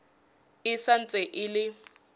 e sa ntse e le